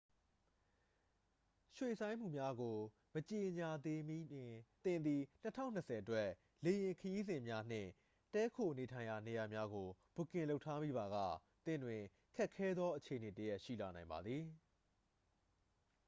ရွှေ့ဆိုင်းမှုများကို မကြေညာသေးမီတွင် သင်သည် 2020 အတွက် လေယာဉ်ခရီးစဉ်များနှင့် တည်းခိုနေထိုင်ရာနေရာများကို ဘွတ်ကင်လုပ်ထားမိပါက သင့်တွင် ခက်ခဲသောအခြေအနေတစ်ရပ် ရှိလာနိုင်ပါသည်